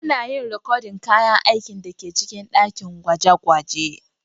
Ana yin rikodin kayan aikin da ke cikin dakin gwaje-gwaje.